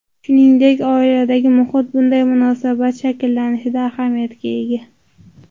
Shuningdek, oiladagi muhit bunday munosabat shakllanishida ahamiyatga ega.